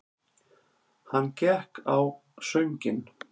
Hann gekk á sönginn.